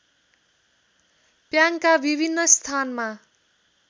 प्याङका विभिन्न स्थानमा